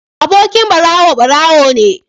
Abokin barawo barawo ne